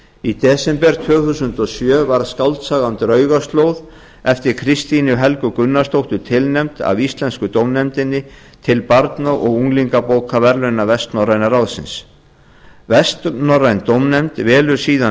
í desember tvö þúsund og sjö var skáldsagan draugaslóð eftir kristínu helgu gunnarsdóttur tilnefnd af íslensku dómnefndinni til barna og unglingabókaverðlauna vestnorræna ráðsins vestnorræn dómnefnd velur síðan